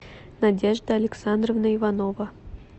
надежда александровна иванова